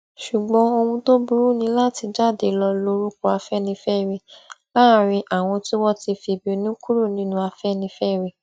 ṣùgbọn ohun tó burú ni láti jáde lọọ lo orúkọ afẹnifẹre láàrin àwọn tí wọn ti fìbínú kúrò nínú afẹnifẹre